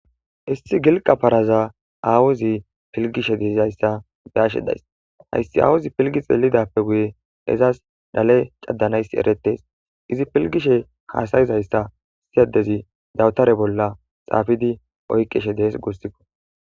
issi gilqa paraza aawuzi pilgishe diizayssa beyashe days hayssi awuzi pilgi xeelidappe guye ezas dale caddanayssi eretes izi pilgishe kaasayizayssa siyadezi dawutare bolla xaafidi oyqishe dees guossikko